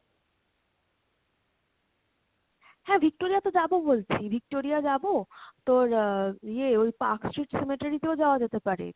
হ্যাঁ Victoria তো যাবো বলছি, Victoria যাবো তোর আহ ইয়ে ওই Park street তেও যাওয়া যেতে পারে।